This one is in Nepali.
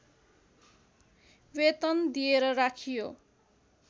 वेतन दिएर राखियो